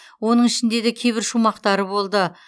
оның ішінде де кейбір шумақтары болды